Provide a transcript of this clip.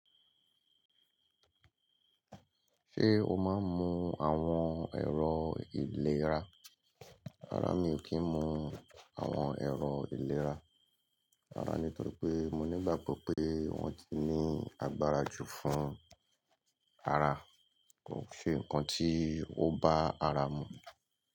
Ṣé o máa ń mu àwọn ẹ̀rọ ìlera? Rárá, mi ò kí ń mu àwọn ẹ̀rọ ìlera. Rárá, nítorí pé mo ní ìgbàgbọ́ pé wọ́n ti ní agbára jù fún ara. Kò ṣe ǹkan tí ó bá ara mu.